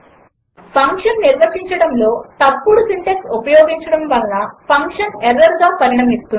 function నిర్వచించడములో తప్పుడు syntax ఉపయోగించడం వలన ఫంక్షన్ ఎర్రర్గా పరిణమిస్తుంది